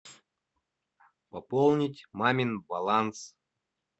пополнить мамин баланс